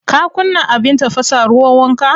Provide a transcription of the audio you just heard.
Ka kunna abin tafasa ruwan wanka?